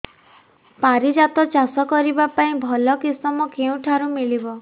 ପାରିଜାତ ଚାଷ କରିବା ପାଇଁ ଭଲ କିଶମ କେଉଁଠାରୁ ମିଳିବ